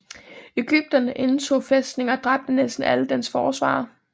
Egypterne indtog fæstningen og dræbte næsten alle dens forsvarere